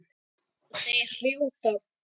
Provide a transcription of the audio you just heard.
Þeir hrjóta.